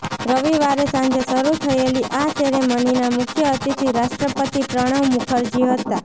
રવિવારે સાંજે શરૂ થયેલી આ સેરેમનીના મુખ્ય અતિથિ રાષ્ટ્રપતિ પ્રણવ મુખરજી હતા